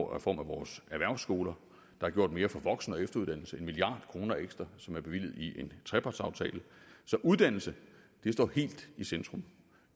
reform af vores erhvervsskoler der er gjort mere for voksen og efteruddannelse en milliard kroner ekstra som er bevilget i en trepartsaftale så uddannelse står helt i centrum